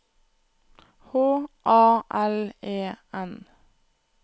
H A L E N